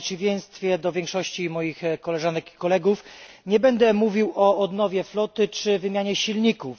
W przeciwieństwie do większości moich koleżanek i kolegów, nie będę mówił o odnowie floty czy wymianie silników.